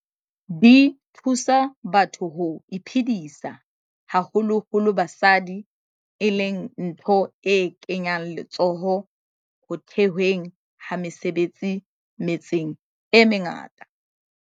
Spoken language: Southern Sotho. Di thusa batho ho iphedisa, haholo holo basadi, e leng ntho e kenyang letsoho ho the hweng ha mesebetsi metseng e mengata.